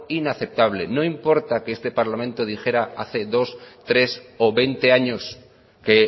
inaceptable no importa que esta parlamento dijera hace dos tres o veinte años que